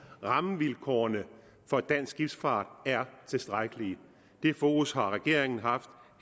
rammevilkårene for dansk skibsfart er tilstrækkelige det fokus har regeringen haft